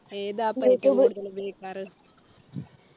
ഏത് app ആണ് ഏറ്റവും കൂടുതൽ ഉപയോഗിക്കാറ്